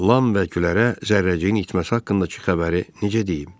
Lam və Gülərə zərrəciyin itməsi haqqındakı xəbəri necə deyim?